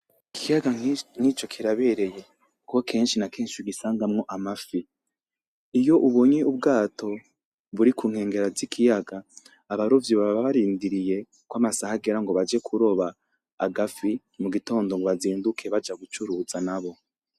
Ikiyaga nkico kirabereye kuko kenshi na kenshi ugisangamwo amafi. Iyo ubonye ubwato burikunkengera zikiyaga abarovyi baba barindiriye kwamasaha agera ngobaje kuroba agafi mugitondo ngwazinduke baja gucuruza nabo.